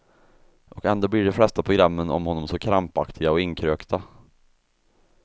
Och ändå blir de flesta programmen om honom så krampaktiga och inkrökta.